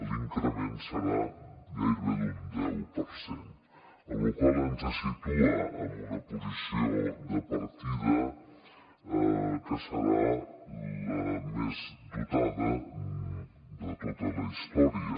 l’increment serà gairebé d’un deu per cent la qual cosa ens situa en una posició de partida que serà la més dotada de tota la història